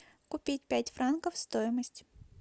купить пять франков стоимость